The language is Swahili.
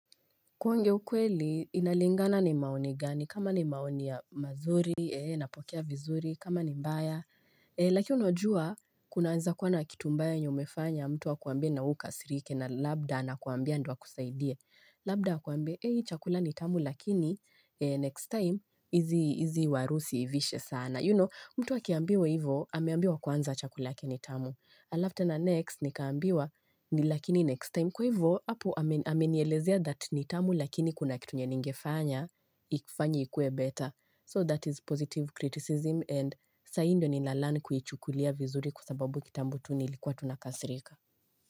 Kuonge ukweli, inalingana ni maoni gani, kama ni maoni ya mazuri, napokea vizuri, kama ni mbaya. Lakini unajua, kunaanza kuwana kitumbaya nyo mefanya, mtu wa kuambia na uka sirike na labda ana kuambia ndio akusaidie. Labda a kuambia, heyi chakula nitamu, lakini next time, hizi warusi usiivishe sana. You know, mtu akiambiwa hivo, ameambiwa kwanza chakula ki nitamu. Alafu tena next nikaambiwa ni lakini next time kwa hivyo apo amenielezea that nitamu lakini kuna kitu enye ningefanya ikufanye ikue better So that is positive criticism and saii ndio nina learn kuichukulia vizuri kwasababu kitambotu nilikuwa tu nakasirika.